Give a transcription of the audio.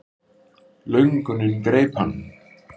Löngunin greip hann.